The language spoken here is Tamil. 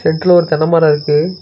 நெட்ல ஒரு தென்ன மர இருக்கு.